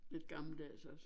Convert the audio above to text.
Lidt gammeldags også